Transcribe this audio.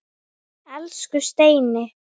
Elsku Steini.